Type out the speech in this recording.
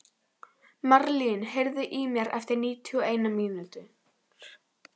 Marlín, heyrðu í mér eftir níutíu og eina mínútur.